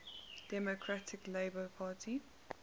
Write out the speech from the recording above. democratic labour party